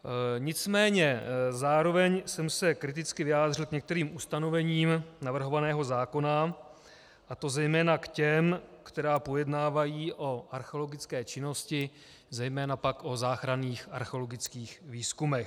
Nicméně zároveň jsem se kriticky vyjádřil k některým ustanovením navrhovaného zákona, a to zejména k těm, která pojednávají o archeologické činnosti, zejména pak o záchranných archeologických výzkumech.